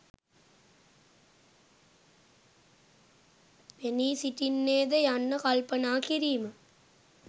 පෙනී සිටින්නේ ද යන්න කල්පනා කිරීම.